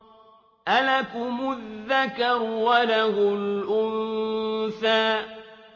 أَلَكُمُ الذَّكَرُ وَلَهُ الْأُنثَىٰ